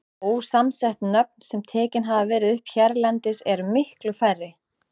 Ósamsett nöfn, sem tekin hafa verið upp hérlendis, eru miklu færri.